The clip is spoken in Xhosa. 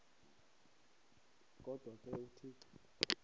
kodwa ke uthixo